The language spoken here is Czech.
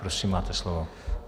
Prosím, máte slovo.